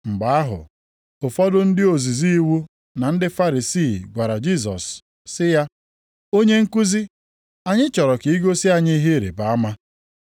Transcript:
Mgbe ahụ, ụfọdụ ndị ozizi iwu na ndị Farisii gwara Jisọs sị ya, “Onye nkuzi, anyị chọrọ ka i gosi anyị ihe ịrịbama.”